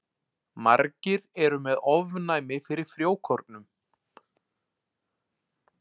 Margir eru með ofnæmi fyrir frjókornum.